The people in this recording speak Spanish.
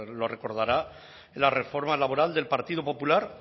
lo recordará en la reforma laboral del partido popular